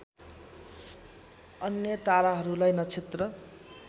अन्य ताराहरूलाई नक्षत्र